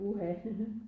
Uha